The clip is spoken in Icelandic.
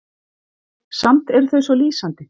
Samt eru þau svo lýsandi.